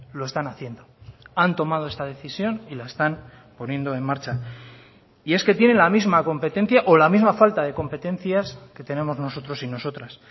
lo están haciendo han tomado esta decisión y la están poniendo en marcha y es que tiene la misma competencia o la misma falta de competencias que tenemos nosotros y nosotras